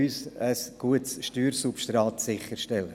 Sie helfen uns, ein gutes Steuersubstrat sicherzustellen.